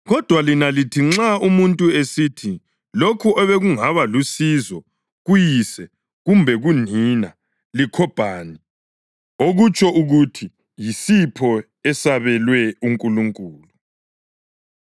Kodwa lina lithi nxa umuntu esithi lokho obekungaba lusizo kuyise kumbe unina liKhobhani (okutsho ukuthi yisipho esabelwe uNkulunkulu),